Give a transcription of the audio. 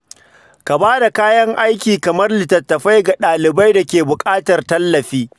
Ka bada kayan aiki kamar littattafai ga ɗalibai da ke buƙatar tallafi.